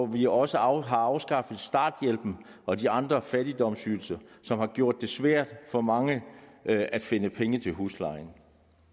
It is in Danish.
vi også også har afskaffet starthjælpen og de andre fattigdomsydelser som har gjort det svært for mange at finde penge til huslejen